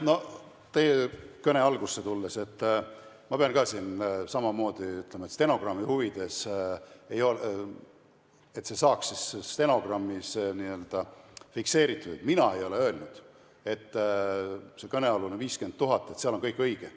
No teie kõne algusse tulles ma pean ka siin samamoodi ütlema, stenogrammi huvides, et see saaks stenogrammis fikseeritud: mina ei ole öelnud selle kõnealuse 50 000 kohta, et seal on kõik õige.